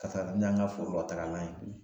Ka taa ka taani y'an ka foro la tagalan ye